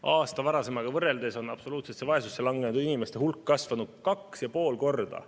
Aasta varasemaga võrreldes on absoluutsesse vaesusesse langenud inimeste hulk kasvanud 2,5 korda.